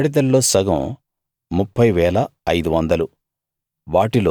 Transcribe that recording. గాడిదల్లో సగం 30 500